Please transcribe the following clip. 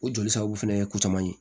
O joli sababu fɛnɛ ye ko caman ye